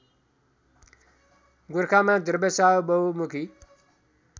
गोरखामा द्रव्यशाह बहुमुखी